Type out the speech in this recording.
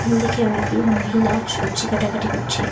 দিকে অনেকগুলো মহিলা সবজি কাটাকাটি করছে।